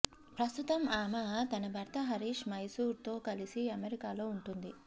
ప్రస్తుతం ఆమె తన భర్త హరీష్ మైసూర్ తో కలిసి అమెరికాలో ఉంటుంది